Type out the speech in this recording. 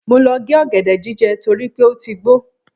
Mo lọ gé ọ̀gẹ̀dẹ̀ jíjẹ torí pé ó ti gbó.